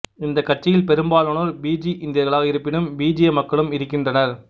இந்த கட்சியில் பெரும்பாலானோர் பிஜி இந்தியர்களாக இருப்பினும் பிஜிய மக்களும் இருக்கின்றனர்